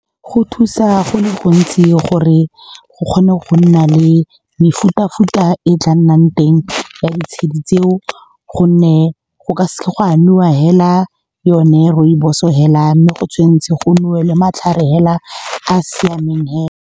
Go thusa go le gontsi gore go kgone go nna le mefuta-futa e tla nnang teng ya ditshedi tseo, gonne go ka seke ga nowa fela yone rooibos-o fela, mme go tshwanetse go nowe matlhare fela a a siameng fela.